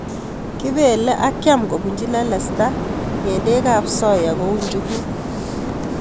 Kibele ak kiam kobunji lelesta ng'endekab soya kou njukuk.